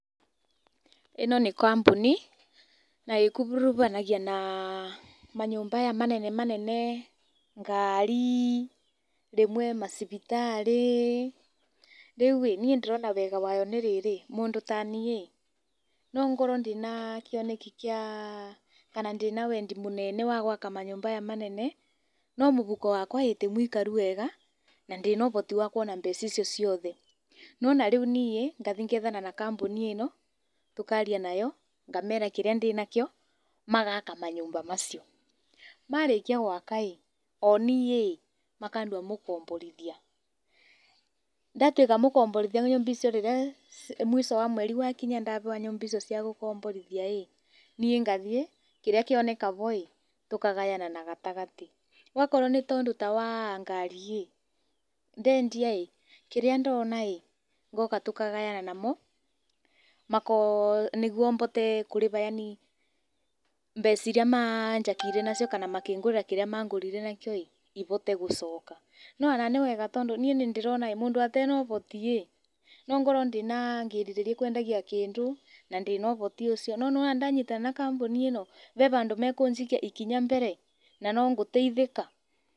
Ĩno nĩ kambũni na ĩkuruvanagia na manyũmba maya manene manene, ngari, rĩmwe macibitarĩ. Rĩu ĩ ndĩrona wega wayo tarĩ rĩrĩ mũndũ ta niĩ nongorwo ndĩna kĩoneki kana ndĩna wendi mũnene wa gwaka manyũmba maya manene no mũhuko wakwa ti mũikaru wega na ndirĩ na ũhoti wa kuona mbeca icio ciothe. Nĩwona rĩu niĩ ngathiĩ ngethana na kamboni ĩno tũkaria nayo ngamera kĩrĩa ndĩnakĩo magaka manyũmba macio. Marĩkia gwaka o niĩ makandua mũkomborithia, ndatuĩka mũkomborithia wa nyũmba icio rĩrĩa mũico wa mweri wakinya ndaheo mbeca icio cia gũkomborithia ĩ niĩ ngathiĩ kĩrĩa kĩoneka ho tũkagayana na gatagatĩ. Akorwo nĩ ũndũ ta wa ngari ĩ ndendia kĩrĩa ndona ngoka tũkagayana namo, nĩguo mbote kũrĩha yaani mbeca iria manjakĩire nacio kana makĩngũrĩra kĩrĩa mangũrĩire nakĩo ihote gũcoka. No ona nĩwega nĩĩ nĩndĩrona mũndũ atarĩ na ũhoti no ngorwo ngĩrirĩria kwendagia kĩndũ na ndirĩ na ũhoti ũcio no wona ndanyitana na kamboni ĩno vee vandũ makũnjikia ikinya mbere na no ngũteithĩka.